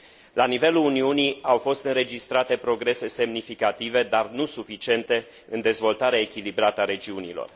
La nivelul Uniunii au fost înregistrate progrese semnificative, dar nu suficiente în dezvoltarea echilibrată a regiunilor.